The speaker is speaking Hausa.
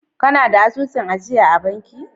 Kana da asusun ajiya a banki?